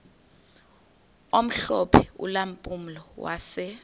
omhlophe ulampulo wase